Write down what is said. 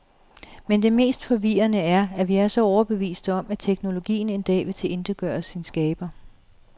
Men det mest forvirrende er, at vi er så overbeviste om, at teknologien en dag vil tilintetgøre sin skaber.